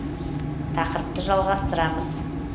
тақырыпты жалғастырамыз